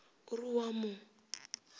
o re o a mo